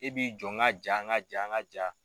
E b'i jɔ n ka jaa n ka jaa n ka jaa